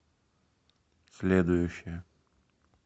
следующая